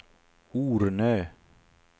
Ornö